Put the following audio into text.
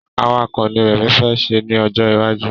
Awakọ̀ ni rẹmi fẹ́ ṣe ni ọjọ iwaju